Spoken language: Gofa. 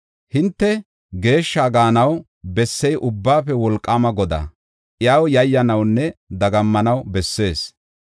Hinte geeshshi gaanaw bessey Ubbaafe Wolqaama Godaa; iyaw yayyanawunne dagammanaw bessees.